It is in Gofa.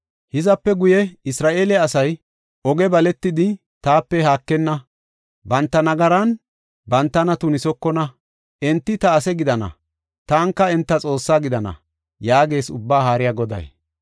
Hizape guye Isra7eele asay oge baletidi taape haakenna; banta nagaran bantana tunisokona. Enti ta ase gidana; taanika enta Xoossaa gidana” yaagees Ubbaa Haariya Goday.